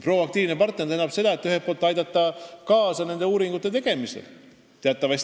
Proaktiivne partner tähendab ühelt poolt seda, et tuleks uuringute tegemisele kaasa aidata.